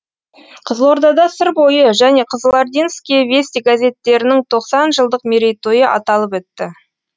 қызылордада сыр бойы және кызылординские вести газеттерінің тоқсан жылдық мерейтойы аталып өтті